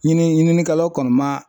Ɲini ɲininikɛlaw kɔni ma